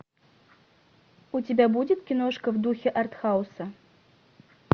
у тебя будет киношка в духе артхауса